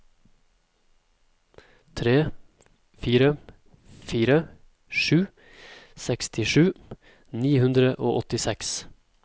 tre fire fire sju sekstisju ni hundre og åttiseks